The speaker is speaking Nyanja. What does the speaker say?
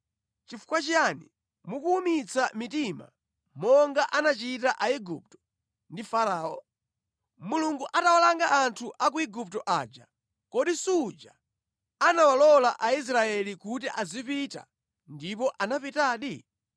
Nʼchifukwa chiyani mukuwumitsa mitima monga anachita Aigupto ndi Farao? Mulungu atawalanga anthu a ku Igupto aja kodi suja anawalola Aisraeli kuti azipita ndipo anapitadi?